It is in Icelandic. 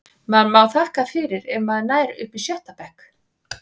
Maður má þakka fyrir ef maður nær upp í sjötta bekk.